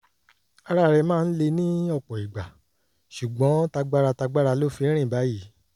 ara rẹ̀ máa ń le ní ọ̀pọ̀ ìgbà ṣùgbọ́n tagbára tagbára ló fi ń rìn báyìí